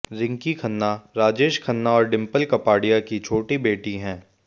रिंकी खन्ना राजेश खन्ना और डिंपल कपाडिया की छोटी बेटी हैं